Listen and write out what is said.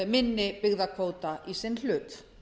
minni byggðakvóta í sinn hlut